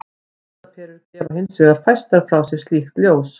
Ljósaperur gefa hins vegar fæstar frá sér slíkt ljós.